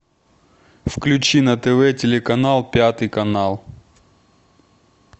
включи на тв телеканал пятый канал